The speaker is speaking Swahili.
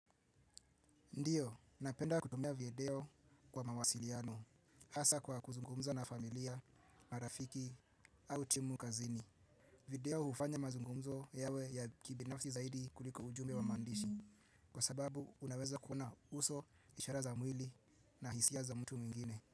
Ndiyo, napenda kutumia video kwa mawasiliano, hasa kwa kuzungumza na familia, marafiki au timu kazini. Video hufanya mazungumzo yawe ya kibinafsi zaidi kuliko ujumbe wa maandishi, kwa sababu unaweza kuona uso ishara za mwili na hisia za mtu mwingine.